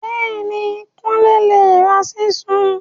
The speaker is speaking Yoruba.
Béèní, Kunle ló ra Ṣísù.